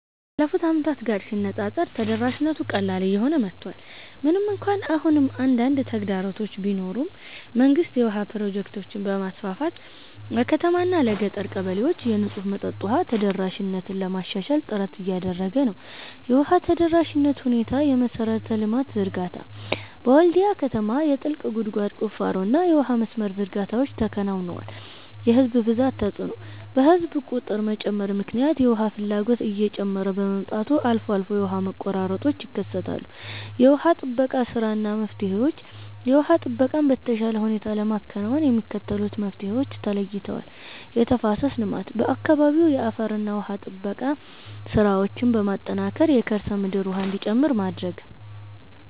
ካለፉት ዓመታት ጋር ሲነፃፀር ተደራሽነቱ ቀላል እየሆነ መጥቷል። ምንም እንኳን አሁንም አንዳንድ ተግዳሮቶች ቢኖሩም፣ መንግስት የውሃ ፕሮጀክቶችን በማስፋፋት ለከተማዋና ለገጠር ቀበሌዎች የንጹህ መጠጥ ውሃ ተደራሽነትን ለማሻሻል ጥረት እያደረገ ነው። የውሃ ተደራሽነት ሁኔታየመሠረተ ልማት ዝርጋታ፦ በወልድያ ከተማ የጥልቅ ጉድጓድ ቁፋሮና የውሃ መስመር ዝርጋታዎች ተከናውነዋል። የሕዝብ ብዛት ተጽዕኖ፦ በሕዝብ ቁጥር መጨመር ምክንያት የውሃ ፍላጎት እየጨመረ በመምጣቱ አልፎ አልፎ የውሃ መቆራረጦች ይከሰታሉ። የውሃ ጥበቃ ሥራና መፍትሄዎች የውሃ ጥበቃን በተሻለ ሁኔታ ለማከናወን የሚከተሉት መፍትሄዎች ተለይተዋል፦ የተፋሰስ ልማት፦ በአካባቢው የአፈርና ውሃ ጥበቃ ሥራዎችን በማጠናከር የከርሰ ምድር ውሃ እንዲጨምር ማድረግ።